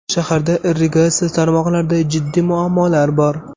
Shaharda irrigatsiya tarmoqlarida jiddiy muammolar bor.